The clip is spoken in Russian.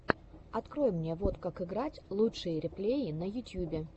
открой мне вот как играть лучшие реплеи на ютьюбе